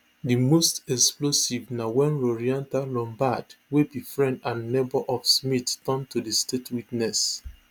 di most explosive na wen lourentia lombaard wey be friend and neighbour of smith turn to state witness